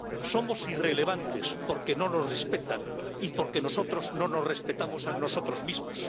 Somos irrelevantes, porque no nos respetan y porque nosotros no nos respetamos a nosotros mismos.